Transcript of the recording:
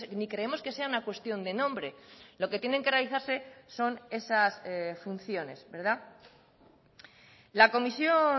ni creemos que sea una cuestión de nombre lo que tienen que realizarse son esas funciones la comisión